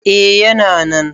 A yana nan